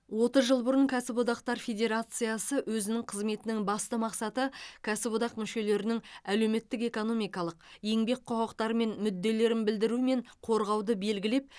отыз жыл бұрын кәсіподақтар федерациясы өзінің қызметінің басты мақсаты кәсіподақ мүшелерінің әлеуметтік экономикалық еңбек құқықтары мен мүдделерін білдіру мен қорғауды белгілеп